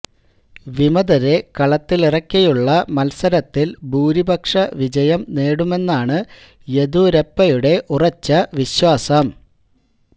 വിമതരെ കളത്തിലിറക്കിയുള്ള മത്സരത്തില് ഭൂരിപക്ഷ വിജയം നേടുമെന്നാണ് യെദ്യൂരപ്പയുടെ ഉറച്ച വിശ്വാസം